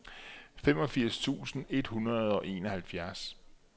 femogfirs tusind et hundrede og enoghalvfjerds